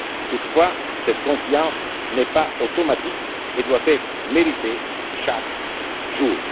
Toutefois, cette confiance n'est pas automatique et doit être méritée chaque